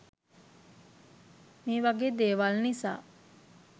මේ වගේ දේවල් නිසා